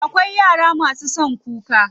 Akwai yara masu son kuka.